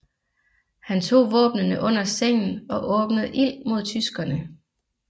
Han tog våbnene under sengen og åbnede ild mod tyskerne